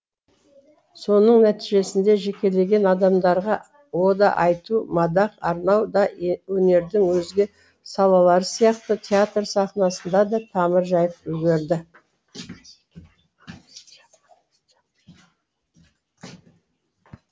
соның нәтижесінде жекелеген адамдарға ода айту мадақ арнау да өнердің өзге салалары сияқты театр сахнасында да тамыр жайып үлгерді